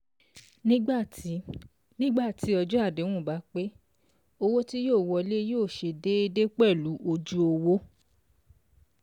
Nígbà tí ọjọ́ Nígbà tí ọjọ́ àdéhùn bá pé, owó tí yóò wọlé yóò ṣe déédé pẹ̀lú ojú owó